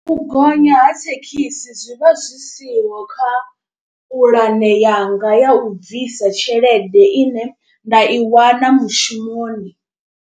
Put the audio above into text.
U gonya ha thekhisi zwivha zwi siho kha puḽane yanga ya u bvisa tshelede ine nda i wana mushumoni.